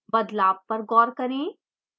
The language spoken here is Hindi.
बदलाव पर गौर करें